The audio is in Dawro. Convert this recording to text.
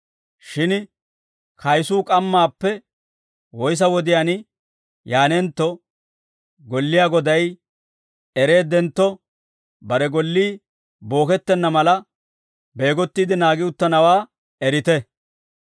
Shin kayisuu k'ammaappe woyssa wodiyaan yaanentto golliyaa goday ereeddentto, bare gollii bookettenna mala, beegottiide naagi uttanawaa erite.